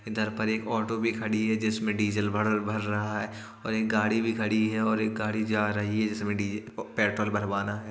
इधर पर एक ऑटो भी खड़ी है जिसमें डीजल भरल भर रहा है और एक गाड़ी भी खड़ी है और एक गाड़ी जा रही है जिसमें डीज प पेट्रोल भरवाना है।